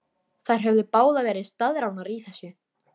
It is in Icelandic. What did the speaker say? Þær höfðu báðar verið staðráðnar í þessu.